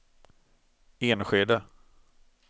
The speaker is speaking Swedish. Enskede